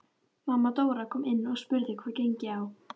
Mamma Dóra kom inn og spurði hvað gengi á.